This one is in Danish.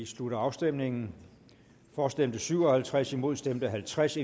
slutter afstemningen for stemte syv og halvtreds imod stemte halvtreds